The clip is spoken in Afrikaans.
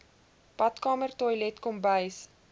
badkamer toilet kombuis